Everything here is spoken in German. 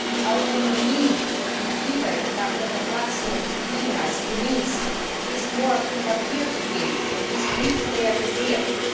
Die Autonomie, die Tibet nach der Verfassung Chinas genießt, ist nur auf dem Papier zu finden und nicht realisiert.